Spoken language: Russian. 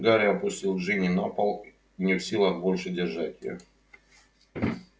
гарри опустил джинни на пол не в силах больше держать её